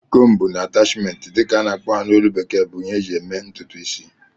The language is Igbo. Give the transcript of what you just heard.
"Comb and attachment" dị ka a na-akpọ ha na ólú bekee bụ ihe eji eme ntụtụ isi